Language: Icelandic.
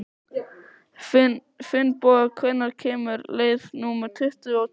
Finnboga, hvenær kemur leið númer tuttugu og tvö?